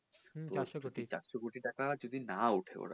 চারশো কোটি